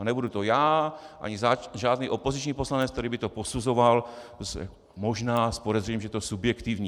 A nebudu to já ani žádný opoziční poslanec, který by to posuzoval možná s podezřením, že je to subjektivní.